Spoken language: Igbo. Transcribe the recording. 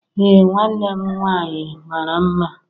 Ee nwanne m nwanyi mara mma.